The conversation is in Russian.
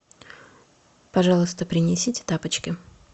пожалуйста принесите тапочки